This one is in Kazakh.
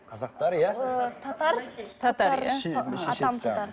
қазақтар иә ы татар татар иә